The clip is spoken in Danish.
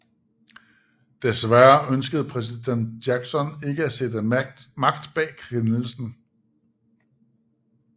Desværre ønskede præsident Jackson ikke at sætte magt bag kendelsen